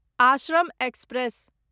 Ashram express